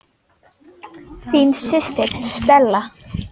Þín systir, Stella.